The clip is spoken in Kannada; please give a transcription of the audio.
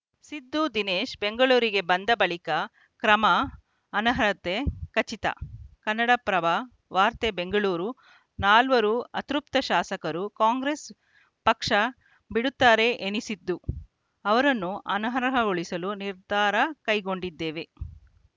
ಸಿದ್ದು ದಿನೇಶ್‌ ಬೆಂಗಳೂರಿಗೆ ಬಂದ ಬಳಿಕ ಕ್ರಮ ಅನರ್ಹತೆ ಖಚಿತ ಕನ್ನಡಪ್ರಭ ವಾರ್ತೆ ಬೆಂಗಳೂರು ನಾಲ್ವರು ಅತೃಪ್ತ ಶಾಸಕರು ಕಾಂಗ್ರೆಸ್‌ ಪಕ್ಷ ಬಿಡುತ್ತಾರೆ ಎನಿಸಿದ್ದು ಅವರನ್ನು ಅನರ್ಹಗೊಳಿಸಲು ನಿರ್ಧಾರ ಕೈಗೊಂಡಿದ್ದೇವೆ